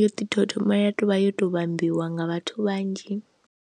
yo ḓi tou thoma tovha yo to vhambiwa nga vhathu vhanzhi.